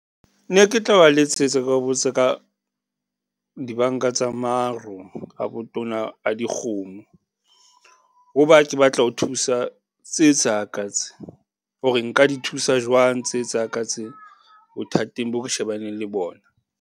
Ne ke tla ba letsetsa ke ba botsa ka, dibanka tsa maro a botona a dikgomo. Ho ba ke batla ho thusa tse tsa ka tse, hore nka di thusa jwang tse tsa ka tse bothateng boo re shebaneng le bona?